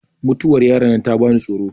mutuwar yaron nan ta bani tsoro